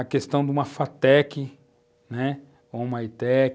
A questão de uma Fatec, né? ou uma Itec,